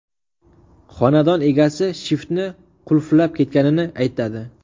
Xonadon egasi shiftni qurtlab ketganini aytadi.